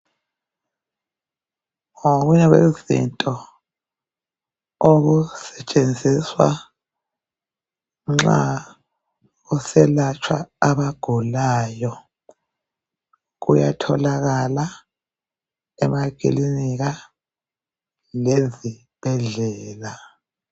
Ngokunye kwezinto okusetshenziswa nxa kuselatshwa abagulayo. Kuyatholakala emakilinika lezibhedlela.